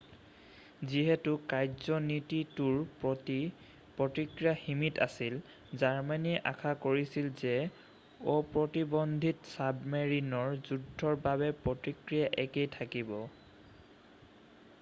যিহেতু কাৰ্যনীতিটোৰ প্ৰতি প্ৰতিক্ৰিয়া সীমিত আছিল জাৰ্মানীয়ে আশা কৰিছিল যে অপ্ৰতিবন্ধিত ছাবমেৰিনৰ যুদ্ধৰ বাবেও প্ৰতিক্ৰিয়া একেই থাকিব